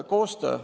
Koostöö.